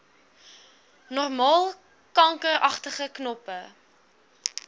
normaal kankeragtige knoppe